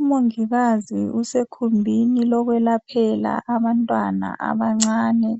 Umongikazi usekhumbini lokwelaphela abantwana abancane